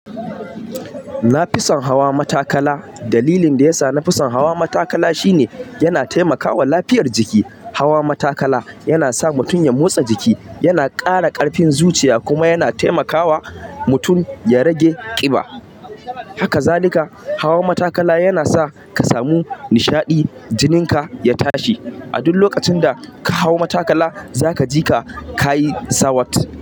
Nafison hawa matakala. Dalilin da yasa nafison hawa matakala shine yana taimakawa lafiyar jiki. Hawa matakala yana sa mutum ya motsa jiki, yana ƙara ƙarfin zuciya kuma yana taimakawa mutum ya rage ƙiba. Haka zalika hawa matakala yana sa ka samu nishaɗi jinin ka ya tashi. A duk lokacin da ka hau matakala zaka ji ka ka yi sawat.